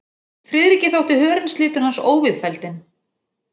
Friðriki þótti hörundslitur hans óviðfelldinn.